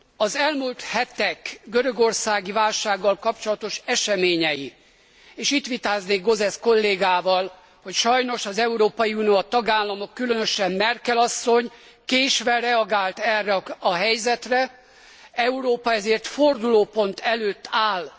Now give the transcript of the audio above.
Az elmúlt hetek görögországi válsággal kapcsolatos eseményei, és itt vitáznék Gauzes kollégával, hogy sajnos az Európai Unió a tagállamok, különösen Merkel asszony késve reagált erre a helyzetre, Európa ezért fordulópont előtt áll.